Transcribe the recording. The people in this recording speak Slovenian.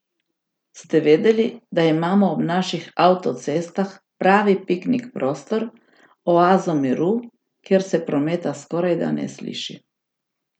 Ste vedeli, da imamo ob naših avtocestah pravi piknik prostor, oazo miru, kjer se prometa skorajda ne sliši?